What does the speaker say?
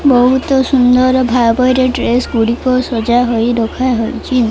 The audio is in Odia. ବୋହୁତ ସୁନ୍ଦର ଭାବରେ ଡ୍ରେସ୍ ଗୁଡ଼ିକ ସଜା ହୋଇ ରଖା ହେଇଚି ।